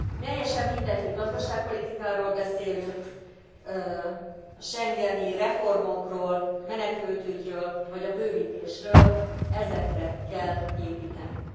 Teljesen mindegy, hogy gazdaságpolitikáról beszélünk, schengeni reformokról, menekültügyről vagy a bővítésről, ezekre kell építenünk!